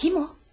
Kim o?